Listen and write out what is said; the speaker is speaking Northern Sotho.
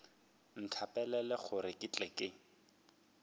nthapelele gore ke tle ke